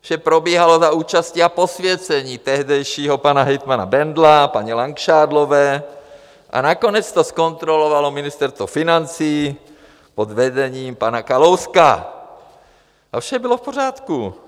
Vše probíhalo za účasti a posvěcení tehdejšího pana hejtmana Bendla, paní Langšádlové a nakonec to zkontrolovalo Ministerstvo financí pod vedením pana Kalouska, a vše bylo v pořádku.